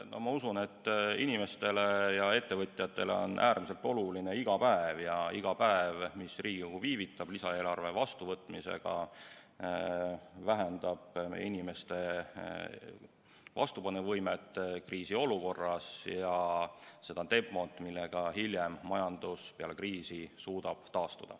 No ma usun, et inimestele ja ettevõtjatele on iga päev äärmiselt oluline ja iga päev, mis Riigikogu viivitab lisaeelarve vastuvõtmisega, vähendab meie inimeste vastupanuvõimet kriisiolukorras ja seda tempot, millega majandus peale kriisi suudab taastuda.